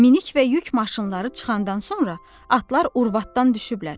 Minik və yük maşınları çıxandan sonra atlar urvatdan düşüblər.